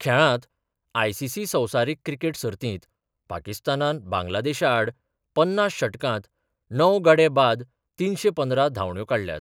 खेळांत आयसीसी संवसारीक क्रिकेट सर्तीत पाकिस्तानान बांगलादेशा आड पन्नास षटकांत णव गडे बाद तिनशे पंदरा धांवड्यो काडल्यात.